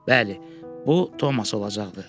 Bəli, bu Tomas olacaqdı.